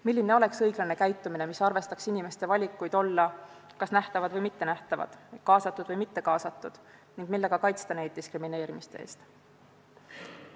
Milline oleks õiglane käitumine, mis arvestaks inimeste valikuid olla kas nähtavad või mittenähtavad, kaasatud või mittekaasatud ning kuidas kaitsta neid diskrimineerimise eest?